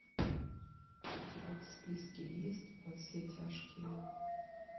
у тебя в списке есть во все тяжкие